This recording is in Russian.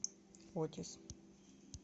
отис